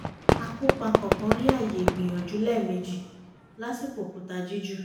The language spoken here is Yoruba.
akópa kọ̀ọ̀kan rí ààyè ìgbìyànjú lẹ́ẹ̀mejì lásìkò òkúta jíjù